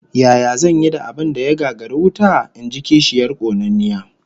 Yaya zan yi da abin da ya gagari wuta? In ji kishiyar konanniya